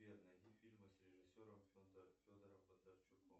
сбер найди фильмы с режиссером федором бондарчуком